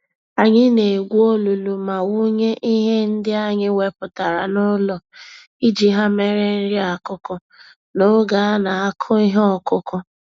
Anyị na-egwu olulu ma wụnye ihe ndị anyị wepụtara n'ụlọ iji ha mere nri-akụkụ, n'oge anakụ ihe okụkụ